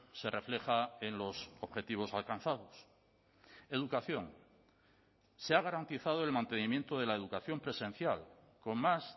se refleja en los objetivos alcanzados educación se ha garantizado el mantenimiento de la educación presencial con más